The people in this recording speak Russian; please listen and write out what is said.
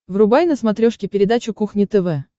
врубай на смотрешке передачу кухня тв